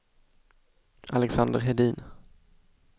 Alexander Hedin